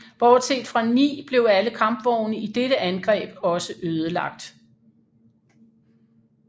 Bortset fra ni blev alle kampvogne i dette angreb også ødelagt